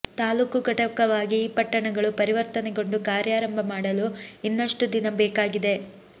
ತಾಲ್ಲೂಕು ಘಟಕವಾಗಿ ಈ ಪಟ್ಟಣಗಳು ಪರಿವರ್ತನೆಗೊಂಡು ಕಾರ್ಯಾರಂಭ ಮಾಡಲು ಇನ್ನಷ್ಟು ದಿನ ಬೇಕಾಗಿದೆ